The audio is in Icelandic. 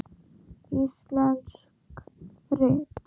Íslensk rit